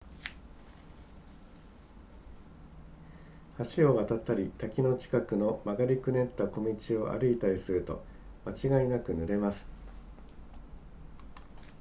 橋を渡ったり滝の近くの曲がりくねった小道を歩いたりすると間違いなく濡れます